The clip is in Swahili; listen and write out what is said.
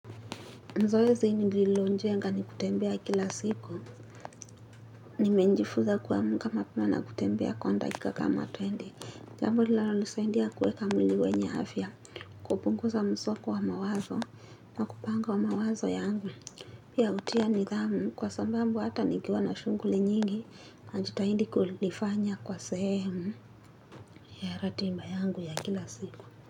Zoeazi nililonjenga ni kutembea kila siku. Nimenjifuza kuamka mapema na kutembea kwa dakika kama twenty. Jambo linalonisaidia kuweka mwili wenye afya. Kupunguza msongo wa mawazo na kupanga mawazo yangu. Pia hutia nidhamu kwa sababu hata nikiwa na shughuli nyingi. Najitahidi kulifanya kwa sehemu ya ratiba yangu ya kila siku.